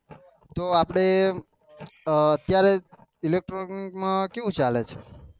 તો આપડે અત્યારે electronic માં કેવું ચાલે છે?